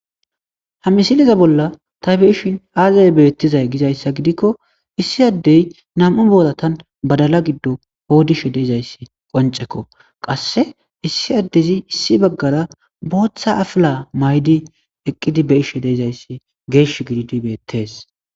Ha misileza bolla ta be'ishen aze betizay gizaysa gidikko issi adey nam'u boratan badala gidon qodishe de'izaysa qoncekko qase issi adezi Issi bagara botha afila mayidi eqidi be'ashe dizaysa geshi gididi betese